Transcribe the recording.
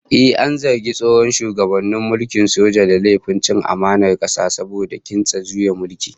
Ehh, an zargi tsohon shugaban mulkin soja da laifin cin amanar kasa saboda kintsa juyin mulki